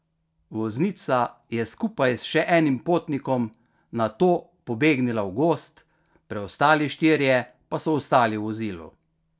Voznica je skupaj s še enim potnikom nato pobegnila v gozd, preostali štirje pa so ostali v vozilu.